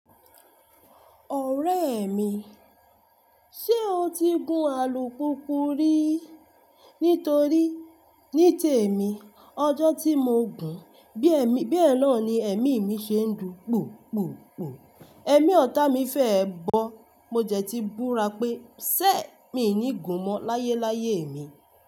Ọ̀rẹ́ mi, ṣe o ti gun alùpùpù rí? Nítorí ní tèmi ọjọ́ tí mo gùn bí èmi bẹ́ẹ̀ náà ni ẹ̀mí mi ṣe ń dùn. Pùpùpù. Ẹ̀mí ọ̀tá mi fẹ́ ẹ bọ̀. Mo jẹ̀ ti búra pé ṣẹ̀ mi ò ní gun mọ́ láyé láyé mi.